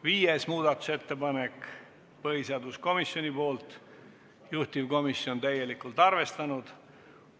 Viies muudatusettepanek on põhiseaduskomisjonilt, juhtivkomisjon on seda täielikult arvestanud.